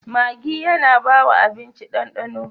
Maggi yAna bawa abinci dan dano